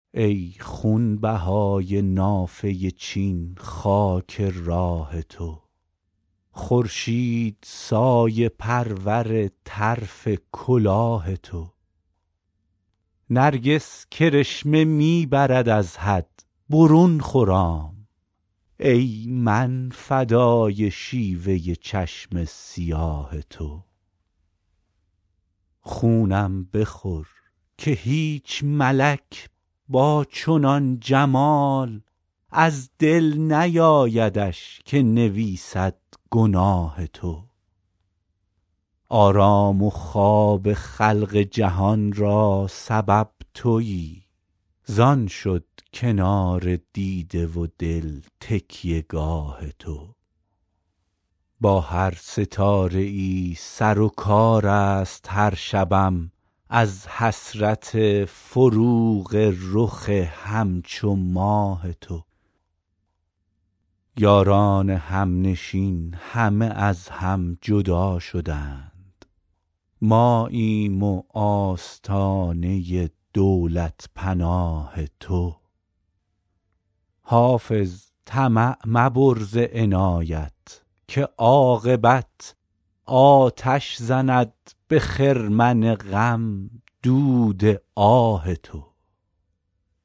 ای خونبهای نافه چین خاک راه تو خورشید سایه پرور طرف کلاه تو نرگس کرشمه می برد از حد برون خرام ای من فدای شیوه چشم سیاه تو خونم بخور که هیچ ملک با چنان جمال از دل نیایدش که نویسد گناه تو آرام و خواب خلق جهان را سبب تویی زان شد کنار دیده و دل تکیه گاه تو با هر ستاره ای سر و کار است هر شبم از حسرت فروغ رخ همچو ماه تو یاران همنشین همه از هم جدا شدند ماییم و آستانه دولت پناه تو حافظ طمع مبر ز عنایت که عاقبت آتش زند به خرمن غم دود آه تو